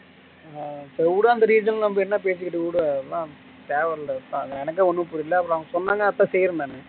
ஆஹ் சேரி உடு அந்த reason ல நம்ம என்ன பேசிக்கிட்டு உடு அதெல்லாம் தேவையில்ல எனக்கே ஒன்னும் புரியல அப்பறம் அவன் சொன்னங்கடித்தான் செய்யறேன் நானு